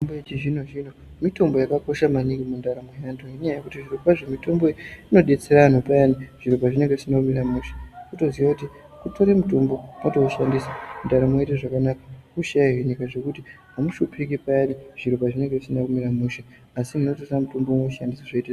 Mitombo yechizvino zvino mitombo yakakosha maningi mundaramo yedu ngekuti zviro kwazvo mitombo iyi inodetsera antu payani zviro pazvinenge zvisina kumira mushe wotoziya kuti unotora mutombo wotoshandisa ndaramo yoita zvakanaka hosha iyi inoita zvekuti haushupiki piyani zvisina kumira zvakanaka asi munotora mutombo moshandisa zvoita zviri nane.